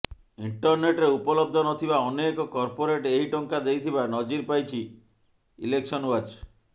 ଇଂଟରନେଟରେ ଉପଲବ୍ଧ ନଥିବା ଅନେକ କର୍ପୋରେଟ୍ ଏହି ଟଙ୍କା ଦେଇଥିବା ନଜିର ପାଇଛି ଇଲେକ୍ସନ ୱାଚ୍